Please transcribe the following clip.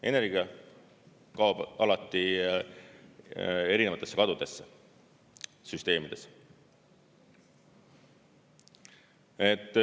Energia kaob alati erinevatesse kadudesse süsteemides.